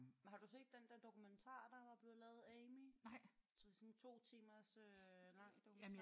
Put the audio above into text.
Men har du set den der dokumentar der var blevet lavet? Amy? Sådan en 2 timer øh lang dokumentar